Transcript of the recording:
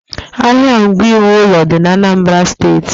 Ahịa ngwa iwu ụlọ dị ạnambara steeti.